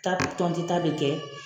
Ta tɔnti ta bi kɛ